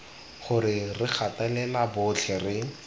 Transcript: gore re gatelela botlhe re